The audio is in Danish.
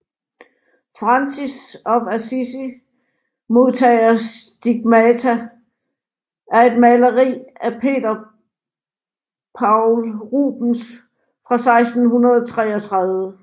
Francis of Assisi modtager stigmata er et maleri af Peter Paul Rubens fra 1633